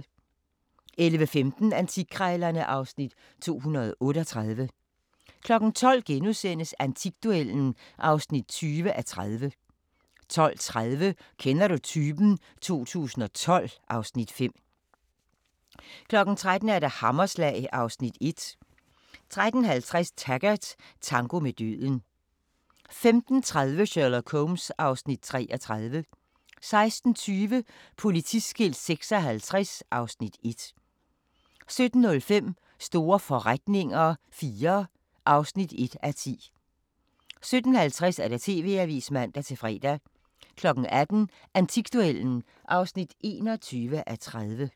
11:15: Antikkrejlerne (Afs. 238) 12:00: Antikduellen (20:30)* 12:30: Kender du typen? 2012 (Afs. 5) 13:00: Hammerslag (Afs. 1) 13:50: Taggart: Tango med døden 15:30: Sherlock Holmes (Afs. 33) 16:20: Politiskilt 56 (Afs. 1) 17:05: Store forretninger IV (1:10) 17:50: TV-avisen (man-fre) 18:00: Antikduellen (21:30)